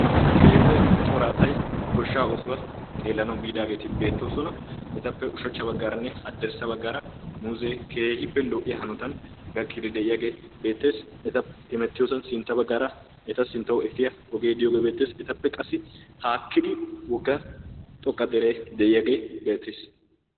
Keehippe cora asay goshshaa oosuwa xeellanawu biidaageeti beettoosona. Etappe ushachcha baggaaranne haddirssa baggaara muuzee keehippe lo'iya hanotan gakkiiddi de'iyagee beettees. Eta hemettiyosan sintta baggaara eta sinttawu efiya ogee beettees. Etappe qassi qassi haakkidi wogga xoqqa deree de'iyagee beettees.